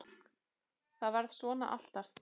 ÞAÐ VARÐ SVONA ALLTAF